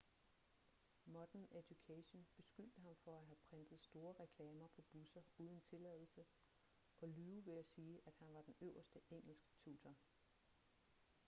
modern education beskyldte ham for at have printet store reklamer på busser uden tilladelse og lyve ved at sige at han var den øverste engelsktutor